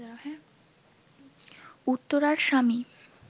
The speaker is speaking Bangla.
উত্তরার স্বামী